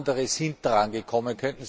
Andere sind drangekommen.